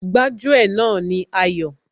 Gbájú ẹ̀ náà ni Ayọ̀